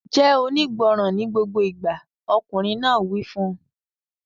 Jẹ́ onígbọràn ní gbogbo ìgbà! Ọkùnrin náà wí fún un.